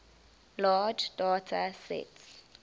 large data sets